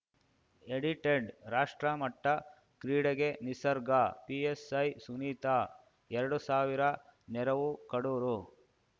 edited ರಾಷ್ಟ್ರಮಟ್ಟಕ್ರೀಡೆಗೆ ನಿಸರ್ಗ PSI Sunita ಎರಡು ಸಾವಿರ ನೆರವು ಕಡೂರು